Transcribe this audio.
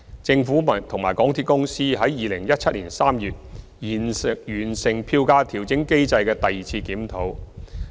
政府和港鐵公司在2017年3月完成票價調整機制的第二次檢討。